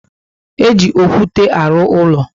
E ji okwute alụ úlọ